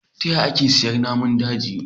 Ta yaya ake ciyar da naman daji